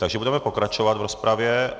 Takže budeme pokračovat v rozpravě.